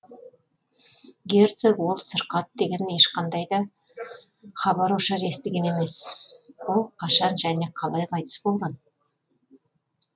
герцог ол сырқат деген ешқандай да хабар ошар естіген емес ол қашан және қалай қайтыс болған